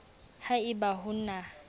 ha e ba ho na